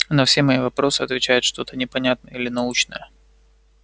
на все мои вопросы отвечает что-то непонятное или научное